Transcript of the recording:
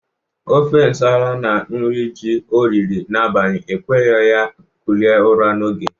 Ofe nsala na nri ji o riri n'abali ekweghi ya kulie ụra n'oge.